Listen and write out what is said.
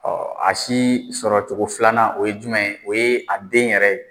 a si sɔrɔ cogo filanan o ye jumɛn ye? O ye a den yɛrɛ ye.